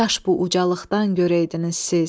Kaş bu ucalıqdan görəydiniz siz.